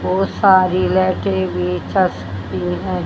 बहुत सारी लाइटें भी हैं।